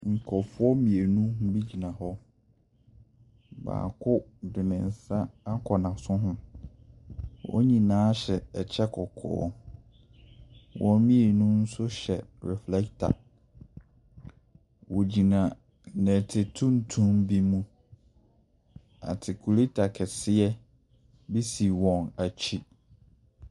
Nkurɔfoɔ mmienu bi gyina hɔ. Baako de ne nsa akɔ n'aso ho. Wɔn nyinaa hyɛ kyɛ kɔkɔɔ. Wɔn mmienu nso hyɛ reflector. Wɔgyina nnɛte tuntum bi mu. Atekuleta kɛseɛ bi si wɔn akyi.